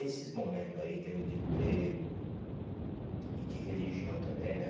Esses momentos aí, em termos de emprego e de religião também, né?